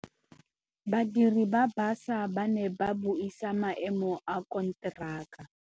Badiri ba baša ba ne ba buisa maêmô a konteraka.